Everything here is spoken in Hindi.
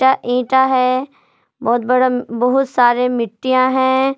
ईटा है बहुत बड़ा बहुत सारे मिट्टियां हैं।